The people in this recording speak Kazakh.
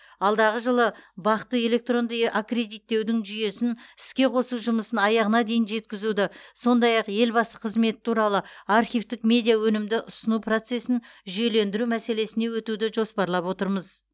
алдағы жылы бақ ты электронды аккредиттеудің жүйесін іске қосу жұмысын аяғына дейін жеткізуді сондай ақ елбасы қызметі туралы архивтік медиа өнімді ұсыну процесін жүйелендіру мәселесіне өтуді жоспарлап отырмыз